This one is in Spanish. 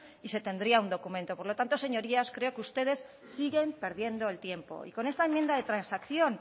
y se tendría un documento por lo tanto señorías creo que ustedes siguen perdiendo el tiempo y con esta enmienda de transacción